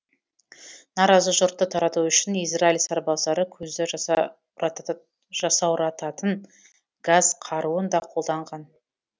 наразы жұртты тарату үшін израиль сарбаздары көзді жасаурататын газ қаруын да қолданған